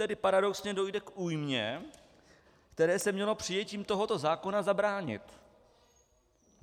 Tedy paradoxně dojde k újmě, které se mělo přijetím tohoto zákona zabránit.